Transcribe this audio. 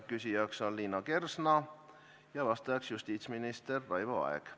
Küsija on Liina Kersna, vastab justiitsminister Raivo Aeg.